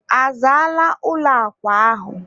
a zaala ụlọ akwa ahụ?